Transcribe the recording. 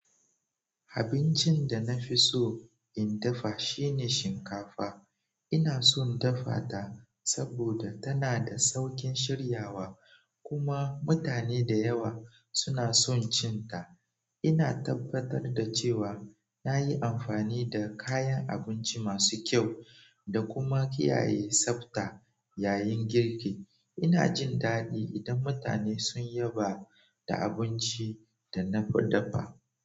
Abincin da na fi so in dafa shine shinkafa. Inason dafata saboda tana da saukin shiryawa kuma mutane da yawa sunason cinta ina tabbatar da cewa na yi amfani da kayan abinci masu kyau da kuma kiyaye tsabta yayin girki. Ina jin daɗi idan mutane sun yaba da abincin da na dafa.